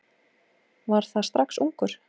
Var það strax ungur.